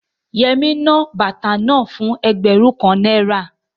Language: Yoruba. Yẹmí ná bàtà náà fún ẹgbẹ̀rún kan náírà